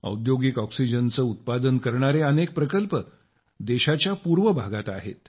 औद्योगिक ऑक्सिजनचं उत्पादन करणारे अनेक प्रकल्प देशाच्या पूर्व भागात आहे